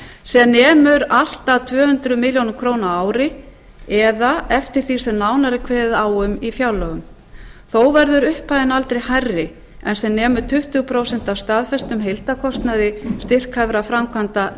sem nemur allt að tvö hundruð milljóna króna á ári eða eftir því sem nánar er kveðið á um í fjárlögum þó verður upphæðin aldrei hærri en sem nemur tuttugu prósent af staðfestum heildarkostnaði styrkhæfra framkvæmda